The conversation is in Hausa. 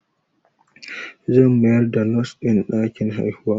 Zan mayar da Nos ɗin ɗakin haihuwa